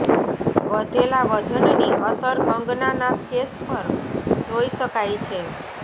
વધેલાં વજનની અસર કંગનાના ફેસ પર જોઈ શકાય છે